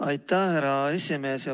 Aitäh, härra esimees!